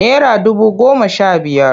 Nera dubu goma sha biyar.